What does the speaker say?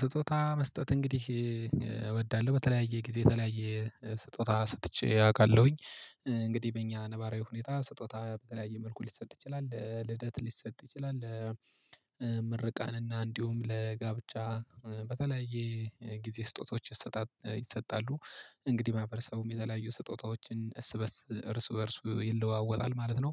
ስጦታ መስጠት እንግዲህ እወዳለሁ በተለያየ ጊዜ የተለያየ ስጦታ ሰጥቼ አውቃለሁኝ። እንግዲህ በእኛ ነባራዊ ሁኔታ ስጦታ በተለያየ መልኩ ሊሰጥ ይችላል ለልደት ሊሰጥ ይችላል። ምርቃትና እንዲሁም ለጋብቻ በተለያየ ጊዜ ስጦታዎች ይሰጣሉ። እንግዲህ ማህበረሰቡም የተለያዩ ስጦታዎችን እርስበርስ እርስ በእርስ ይለዋወጣል ማለት ነው።